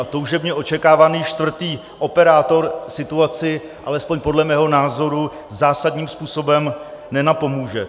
A toužebně očekávaný čtvrtý operátor situaci, alespoň podle mého názoru, zásadním způsobem nenapomůže.